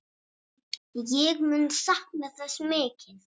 Ég mun sakna þess mikið.